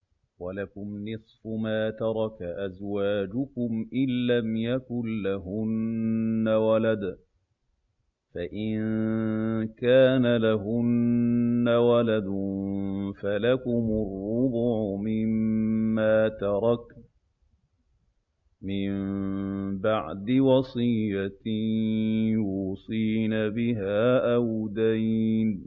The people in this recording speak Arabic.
۞ وَلَكُمْ نِصْفُ مَا تَرَكَ أَزْوَاجُكُمْ إِن لَّمْ يَكُن لَّهُنَّ وَلَدٌ ۚ فَإِن كَانَ لَهُنَّ وَلَدٌ فَلَكُمُ الرُّبُعُ مِمَّا تَرَكْنَ ۚ مِن بَعْدِ وَصِيَّةٍ يُوصِينَ بِهَا أَوْ دَيْنٍ ۚ